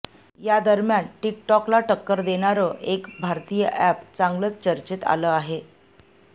यादरम्यान टिकटॉकला टक्कर देणारं एक भारतीय ऍप चांगलंच चर्चेत आलं आहे